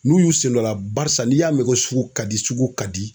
N'u y'u sen dɔ la barisa n'i y'a mɛn ko sugu ka di sugu ka di